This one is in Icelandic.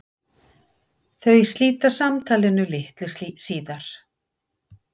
Þau slíta samtalinu litlu síðar.